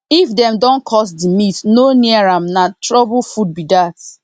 if dem don curse the meat no near am na trouble food be that